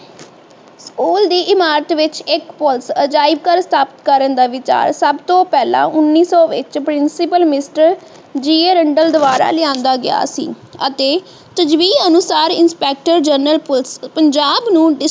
School ਦੀ ਇਮਾਰਤ ਵਿਚ ਇੱਕ ਪੁਲਿਸ ਅਜਾਇਬ ਘਰ ਸਥਾਪਿਤ ਕਰਨ ਦਾ ਵਿਚਾਰ ਸੱਬ ਤੋਂ ਪਹਿਲਾਂ ਉਨੀ ਸੌ ਵਿਚ principal mister G. A. Randall ਦੁਵਾਰਾ ਲਿਆਂਦਾ ਗਿਆ ਸੀ ਅਤੇ ਅਨੁਸਾਰ ਇੰਸਪੈਕਟਰ ਜਰਨਲ ਪੁਲਿਸ ਪੰਜਾਬ ਨੂੰ